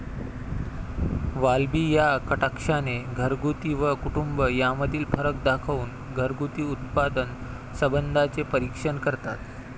वाल्बी या कटाक्षाने 'घरगुती' व 'कुटुंब' यामधील फरक दाखवून घरगुती उत्पादन संबंधांचे परीक्षण करतात.